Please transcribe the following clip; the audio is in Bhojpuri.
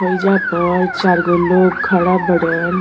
होईजा पर चार गो लोग खड़ा बाड़न।